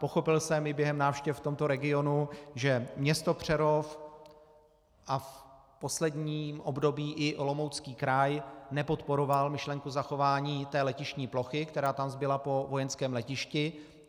Pochopil jsem i během návštěv v tomto regionu, že město Přerov a v posledním období i Olomoucký kraj nepodporovaly myšlenku zachování té letištní plochy, která tam zbyla po vojenském letišti.